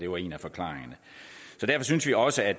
var en af forklaringerne så derfor synes vi også at